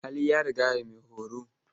Hali ya rigaya maihoro.